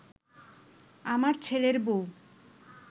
আমার ছেলের বউ